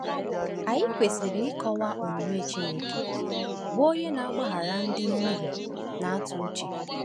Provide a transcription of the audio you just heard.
Anyị kwesịrị ịkọwa omume Chineke, bụ onye na-agbaghara ndị mmehie na-atụ uche.